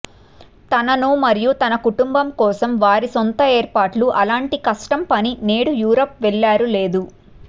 తనను మరియు తన కుటుంబం కోసం వారి సొంత ఏర్పాట్లు అలాంటి కష్టం పని నేడు యూరప్ వెళ్లారు లేదు